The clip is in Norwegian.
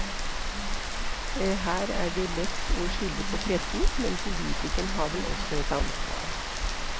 Her er det lett å skylde på pressen, men politikerne har vel også et ansvar?